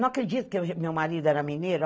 Não acredito que o meu marido era mineiro.